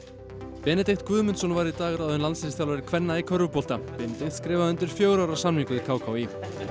Benedikt Guðmundsson var í dag ráðinn landsliðsþjálfari kvenna í körfubolta Benedikt skrifaði undir fjögurra ára samning við k k í